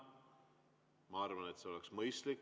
Ma arvan, et see oleks mõistlik.